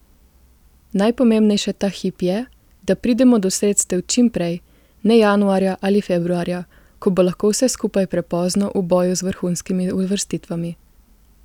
Najpomembnejše ta hip je, da pridemo do sredstev čim prej, ne januarja ali februarja, ko bo lahko vse skupaj prepozno v boju z vrhunskimi uvrstitvami.